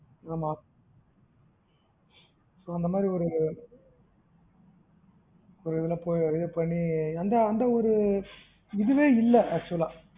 ஆமா இப்போ அந்த மாறி ஒரு ஒருஇதுல போயி இதுபண்ணி அந்த அந்த ஒரு இதுவே இல்ல actual ஆ